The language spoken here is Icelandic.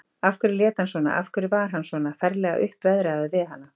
Af hverju lét hann svona, af hverju var hann svona ferlega uppveðraður við hana?